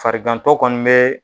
Farigantɔ kɔni bɛ